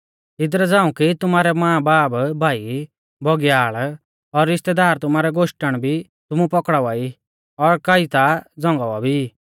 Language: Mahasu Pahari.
इदरा झ़ांऊ कि तुमारै मांबाब भाईभौगीयाल़ और रिश्तैदार तुमारै गोश्टण भी तुमु पौकड़ावा ई और कई ता झ़ंगावा भी ई